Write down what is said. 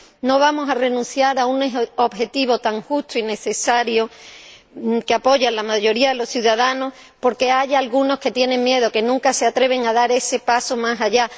No vamos a renunciar a un objetivo tan justo y necesario —que apoya la mayoría de los ciudadanos— porque haya algunos que tienen miedo, que nunca se atreven a dar ese paso más allá.